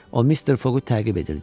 O Mister Foqu təqib edirdi.